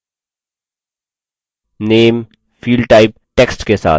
name fieldtype text के साथ